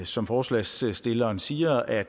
som forslagsstilleren siger at